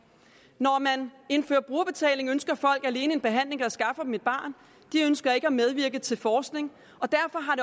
når man indfører brugerbetaling ønsker folk alene en behandling der skaffer dem et barn de ønsker ikke at medvirke til forskning og derfor har